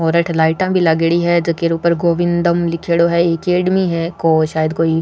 और अठ लाइटा भी लागेड़ी है जेको ऊपर गोविन्दम लिखोडा है अकैडमी है सायद कोई --